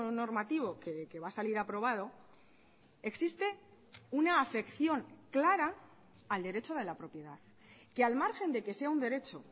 normativo que va a salir aprobado existe una afección clara al derecho de la propiedad que al margen de que sea un derecho